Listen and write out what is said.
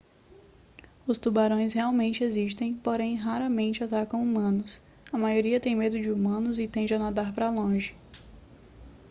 os tubarões realmente existem porém raramente atacam humanos a maioria tem medo de humanos e tende a nadar para longe